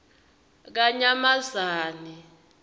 kanyamazane